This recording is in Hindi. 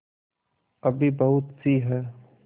अभी बहुतसी हैं